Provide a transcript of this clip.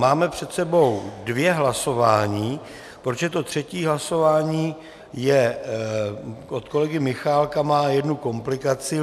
Máme před sebou dvě hlasování, protože to třetí hlasování od kolegy Michálka má jednu komplikaci.